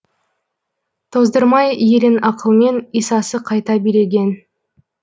тоздырмай елін ақылмен исасы қайта билеген